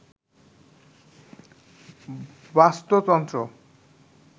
বাস্তুতন্ত্র